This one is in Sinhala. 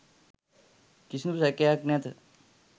කිසිදු සැකයක් නැත.